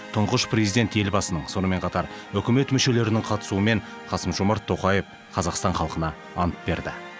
тұңғыш президент елбасының сонымен қатар үкімет мүшелерінің қатысуымен қасым жомарт тоқаев қазақстан халқына ант берді